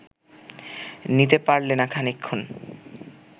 নিতে পারলে না খানিকক্ষণ